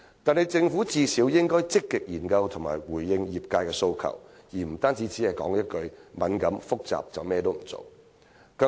可是，政府最低限度應積極研究並回應業界訴求，而非單單說一句"敏感和複雜"便甚麼也不做。